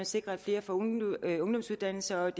sikre at flere får en ungdomsuddannelse og